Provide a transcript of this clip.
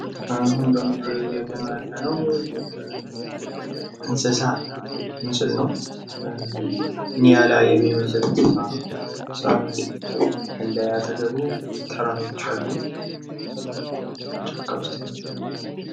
ምስሉ ላይ የምንመለከተው እንስሳት ነው ።ኒያላ የሚመስል እንስሳት ነው ።ሳር አለ አጠገቡ። ተራሮችም አሉ። ጫካ ውስጥ ነው ያለው።